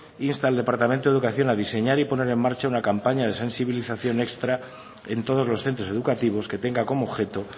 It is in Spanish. insta al departamento de educación a diseñar y poner en marcha una campaña de sensibilización extra en todos los centros educativos que tenga como objeto